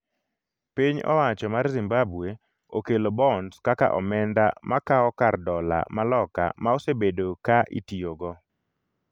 piny owacho mar Zimbabwe okelo bonds kaka omenda makawo kar dola ma Loka ma osebedo ka itiyogo